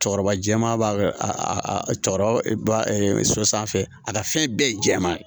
Cɔkɔrɔba jɛman b'a cɔkɔrɔba so sanfɛ a ka fɛn bɛɛ ye jɛman ye